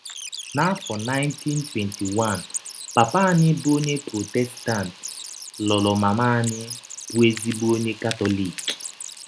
N’afọ 1921, papa anyị, bụ́ onye Prọtestant, lụrụ mama anyị, bụ́ ezịgbọ ọnye Katọlik.